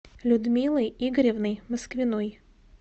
людмилой игоревной москвиной